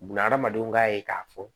Bunahadamadenw ka ye k'a fɔ